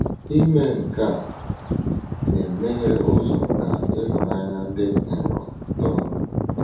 Ime nke a na-emeghe ụzọ ka ịhụnanya dị nro too.